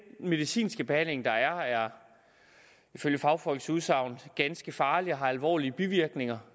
medicinske behandling der er er ifølge fagfolks udsagn ganske farlig og har alvorlige bivirkninger